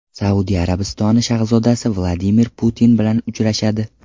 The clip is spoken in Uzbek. Saudiya Arabistoni shahzodasi Vladimir Putin bilan uchrashadi.